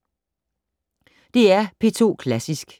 DR P2 Klassisk